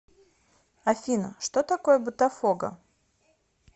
афина что такое ботафого